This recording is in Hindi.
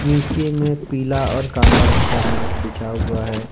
नीचे में पीला और काला रंग का मैट बिछा हुआ है।